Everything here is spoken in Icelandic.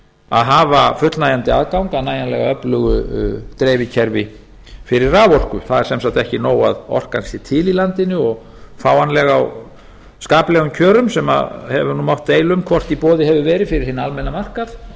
að hafa fullnægjandi aðgang að nægjanlega öflugu dreifikerfi fyrir raforku það er sem sagt ekki nóg að orkan sé til í landinu og fáanleg á skaplegum kjörum sem hefur mátt deila um hvort í boði hefur verið fyrir hinn almenna markað